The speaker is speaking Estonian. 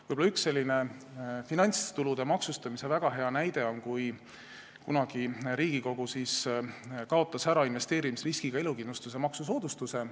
Võib-olla üks väga häid finantstulude maksustamise näiteid on see, kui kunagi kaotas Riigikogu ära investeerimisriskiga elukindlustuse maksusoodustuse.